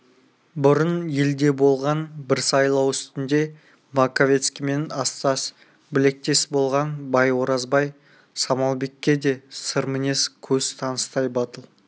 бұрын елде болған бір сайлау үстінде маковецкиймен астас білектес болған бай оразбай самалбекке де сыр-мінез көз таныстай батыл